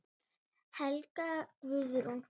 Helga Guðrún.